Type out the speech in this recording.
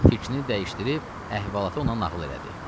Fikrini dəyişdirib əhvalatı ona nağıl elədi.